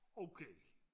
okay